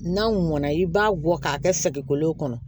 N'a mɔnna i b'a bɔ k'a kɛ sɛgɛnkolo kɔnɔ